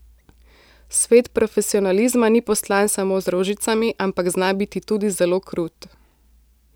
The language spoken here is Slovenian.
Svet profesionalizma ni postlan samo z rožicami, ampak zna biti tudi zelo krut.